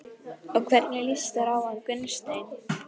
Og hvernig líst þér á hann Gunnsteinn?